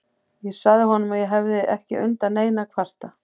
Ég sagði honum að ég hefði ekki undan neinu að kvarta.